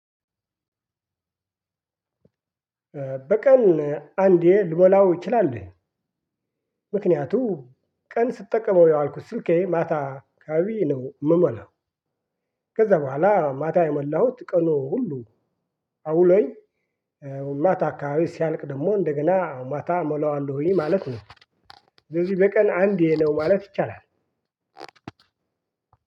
በቀን አንዴ ልሞላው እችላለሁኝ። ምክንያቱ ቀን ስጠቀመው ያዋልኩት ስልኬ ማታ አካባቢ ነው የምሞላው። ከዛ በኋላ ማታ የሞላሁት ቀኑ ሁሉ አውሎኝ። ማታ አካባቢ ሲያልቅ ደግሞ እንደገና ማታ እሞላዋለሁኝ ማለት ነው። ስለዚህ በቀን አንዴ ነው ማለት ይቻላል።